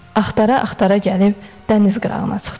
Axtara-axtara gəlib dəniz qırağına çıxdılar.